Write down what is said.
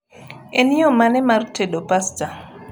en yo mane mar tedo pasta